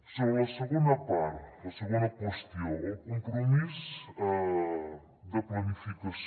sobre la segona part la segona qüestió el compromís de planificació